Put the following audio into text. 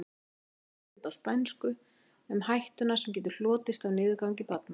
Hér er veggspjald á spænsku um hættuna sem getur hlotist af niðurgangi barna.